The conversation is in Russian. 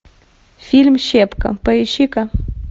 фильм щепка поищи ка